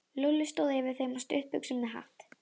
Lúlli stóð yfir þeim á stuttbuxum með hatt.